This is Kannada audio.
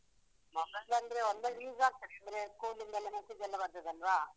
Mobile ಅಂದ್ರೆ ಒಂದಾ use ಆಗ್ತದೆ, ಅಂದ್ರೆ school ದೆಲ್ಲ message ಲ್ಲ ಬರ್ತದಲ್ವಾ?